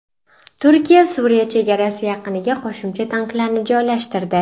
Turkiya Suriya chegarasi yaqiniga qo‘shimcha tanklarni joylashtirdi.